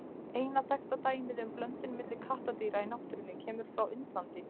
Eina þekkta dæmið um blöndun milli kattardýra í náttúrunni kemur frá Indlandi.